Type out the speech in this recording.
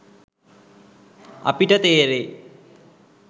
අපිට තේරෙයි.